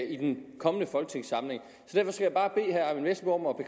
i den kommende folketingssamling så